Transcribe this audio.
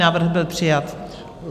Návrh byl přijat.